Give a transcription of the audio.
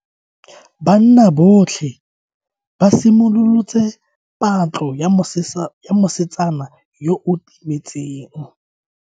Banna botlhe ba simolotse patlo ya mosetsana yo o timetseng.